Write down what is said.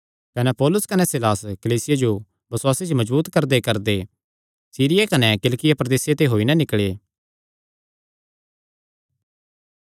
कने पौलुस कने सीलास कलीसियां जो बसुआसे च मजबूत करदेकरदे सीरिया कने किलिकिया प्रदेसे ते होई नैं निकल़े